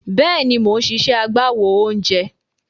Bẹ́ẹ̀ni, mò ń ṣiṣẹ́ agbáwo oúnjẹ.